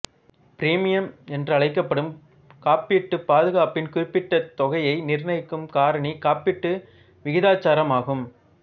premium என்றழைக்கப்படும் காப்பீட்டு பாதுகாப்பின் குறிப்பிட்டத் தொகையை நிர்ணயிக்கும் காரணி காப்பீடு விகிதாச்சாரம் ஆகும்